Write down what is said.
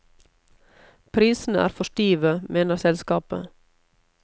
Prisene er for stive, mener selskapet.